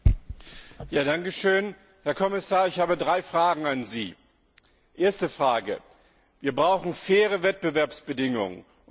Herr Präsident! Herr Kommissar, ich habe drei Fragen an Sie. Erste Frage Wir brauchen faire Wettbewerbsbedingungen.